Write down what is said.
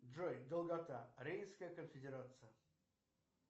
джой долгота рейнская конфедерация